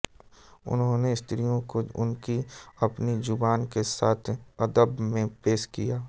उन्होंने स्त्रियों को उनकी अपनी जुबान के साथ अदब में पेश किया